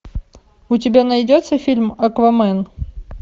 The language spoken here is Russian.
у тебя найдется фильм аквамен